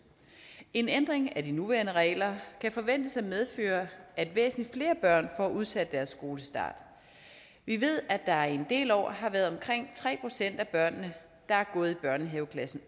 en ændring af de nuværende regler kan forventes at medføre at væsentlig flere børn får udsat deres skolestart vi ved at der i en del år har været omkring tre procent af børnene der har gået børnehaveklassen